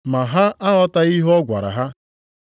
Ma ha aghọtaghị ihe ọ gwara ha.